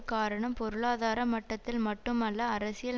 காரணம் பொருளாதார மட்டத்தில் மட்டுமல்ல அரசியல்